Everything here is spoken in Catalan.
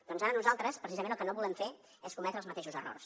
doncs ara nosaltres precisament el que no volem fer és cometre els mateixos errors